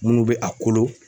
Munnu bɛ a kolo.